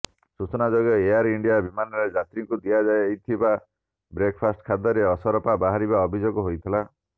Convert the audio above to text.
ସୂଚନାଯୋଗ୍ୟ Air India ବିମାନରେ ଯାତ୍ରୀଙ୍କୁ ଦିଆଯାଇଥିବା ବ୍ରେକଫାଷ୍ଟ ଖାଦ୍ୟରେ ଅସରପା ବାହାରିବା ଅଭିଯୋଗ ହୋଇଥିଲା